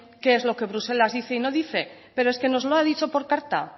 qué es lo que bruselas dice y no dice pero es que los ha dicho por carta